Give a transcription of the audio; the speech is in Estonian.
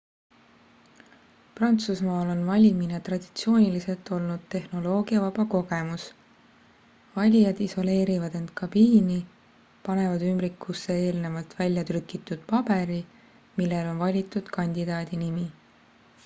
prantsusmaal on valimine traditsiooniliselt olnud tehnoloogiavaba kogemus valijad isoleerivad end kabiini panevad ümbrikusse eelnevalt välja trükitud paberi millel on valitud kandidaadi nimi